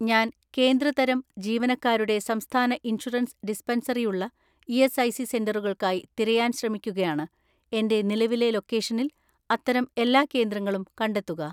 "ഞാൻ കേന്ദ്ര തരം ജീവനക്കാരുടെ സംസ്ഥാന ഇൻഷുറൻസ് ഡിസ്പെൻസറി ഉള്ള ഇ.എസ്.ഐ.സി സെന്ററുകൾക്കായി തിരയാൻ ശ്രമിക്കുകയാണ്, എന്റെ നിലവിലെ ലൊക്കേഷനിൽ അത്തരം എല്ലാ കേന്ദ്രങ്ങളും കണ്ടെത്തുക."